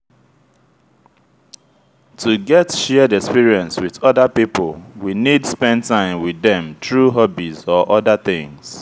to get shared experience with oda pipo we need spend time with dem through hobbies or oda things